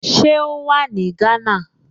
Ṣé ó wà ní Gánà?